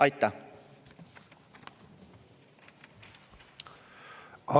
Aitäh!